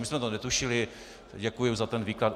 My jsme to netušili, děkujeme za ten výklad.